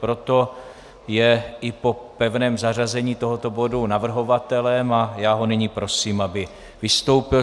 Proto je i po pevném zařazení tohoto bodu navrhovatelem a já ho nyní prosím, aby vystoupil.